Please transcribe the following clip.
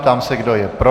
Ptám se, kdo je pro?